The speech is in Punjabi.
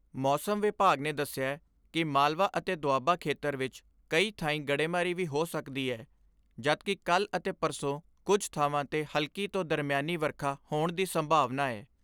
ਮੌਸਮ ਵਿਭਾਗ ਨੇ ਦਸਿਐ ਕਿ ਮਾਲਵਾ ਅਤੇ ਦੁਆਬਾ ਖੇਤਰ ਵਿਚ ਕਈ ਥਾਈਂ ਗੜੇਮਾਰੀ ਵੀ ਹੋ ਸਕਦੀ ਏ ਜਦਕਿ ਕੱਲ੍ਹ ਅਤੇ ਪਰਸੋਂ ਕੁਝ ਥਾਵਾਂ 'ਤੇ ਹਲਕੀ ਤੋਂ ਦਰਮਿਆਨੀ ਵਰਖਾ ਹੋਣ ਦੀ ਸੰਭਾਵਨਾ ਐ।